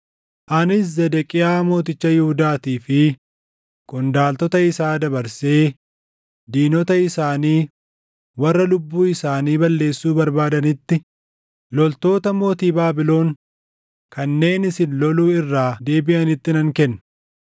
“Anis Zedeqiyaa mooticha Yihuudaatii fi qondaaltota isaa dabarsee diinota isaanii warra lubbuu isaanii balleessuu barbaadanitti, loltoota mootii Baabilon kanneen isin loluu irraa deebiʼanitti nan kenna.